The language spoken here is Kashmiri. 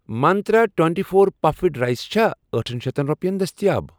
منٛترٛا twenty four puffed rice چھا أٹھن شیٚتھن رۄپیَن دٔستِیاب؟